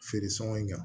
Feere sɔngɔ in kan